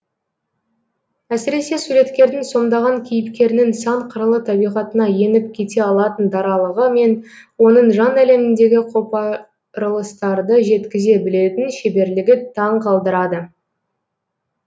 әсіресе суреткердің сомдаған кейіпкерінің сан қырлы табиғатына еніп кете алатын даралығы мен оның жан әлеміндегі қопарылыстарды жеткізе білетін шеберлігі таң қалдырады